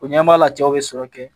O ɲɛ b'a la cɛw bɛ sɔrɔ kɛ